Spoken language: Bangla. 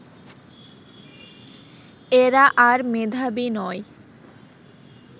এরা আর মেধাবী নয়